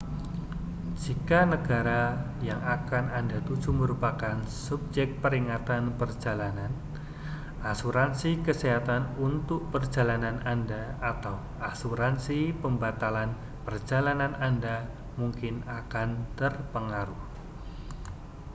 jika negara yang akan anda tuju merupakan subjek peringatan perjalanan asuransi kesehatan untuk perjalanan anda atau asuransi pembatalan perjalanan anda mungkin akan terpengaruh